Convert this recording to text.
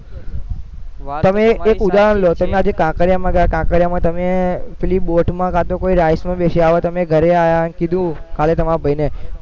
તમે એક ઉદાહરણ લો તમે આજે કાંકરિયામાં ગયા કાંકરિયામાં તમે પેલી બોટમાં કાં તો કોઈ rides માં બેસી આવા તમે ઘરે આયા ને કીધું કાલે તમારા ભૈ ને